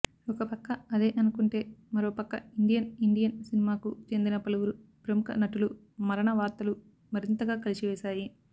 ఒకపక్క అదే అనుకుంటే మరోపక్క ఇండియన్ ఇండియన్ సినిమాకు చెందిన పలువురు ప్రముఖ నటులు మరణ వార్తలు మరింతగా కలచివేశాయి